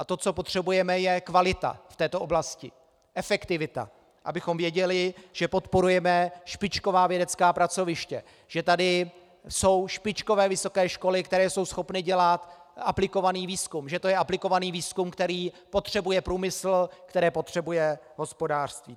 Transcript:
A to, co potřebujeme, je kvalita v této oblasti, efektivita, abychom věděli, že podporujeme špičková vědecká pracoviště, že tady jsou špičkové vysoké školy, které jsou schopny dělat aplikovaný výzkum, že to je aplikovaný výzkum, který potřebuje průmysl, který potřebuje hospodářství.